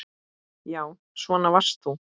Já, svona varst þú.